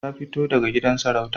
Ta fito daga gidan sarauta